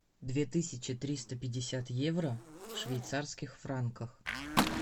две тысячи триста пятьдесят евро в швейцарских франках